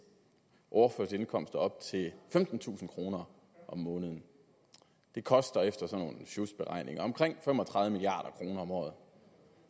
overførselsindkomster op til femtentusind kroner om måneden det koster efter nogle sjusberegninger omkring fem og tredive milliard kroner om året